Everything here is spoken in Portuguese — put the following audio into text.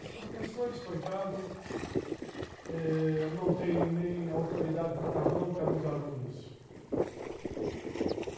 Os professores, coitado eh, não têm nem autoridade para dar bronca nos alunos.